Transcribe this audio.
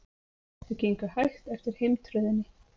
Þau gengu hægt eftir heimtröðinni.